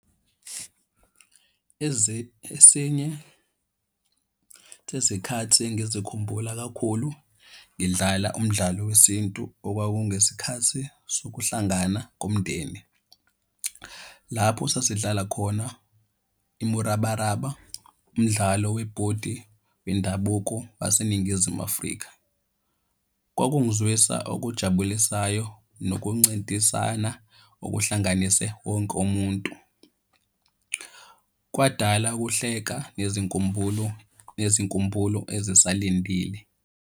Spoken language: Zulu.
Esinye sezikhathi engizikhumbula kakhulu ngidlala umdlalo wesintu okwakungesikhathi sokuhlangana komndeni. Lapho sasidlala khona imurabaraba, umdlalo webhodi wendabuko waseNingizimu Afrika. Kwakungizwisa okujabulisayo nokuncintisana okuhlanganise wonke umuntu. Kwadala ukuhleka nezinkumbulo nezinkumbulo ezisalindile.